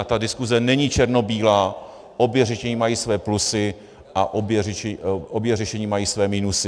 A ta diskuse není černobílá, obě řešení mají své plusy a obě řešení mají své minusy.